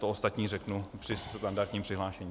To ostatní řeknu při standardním přihlášení.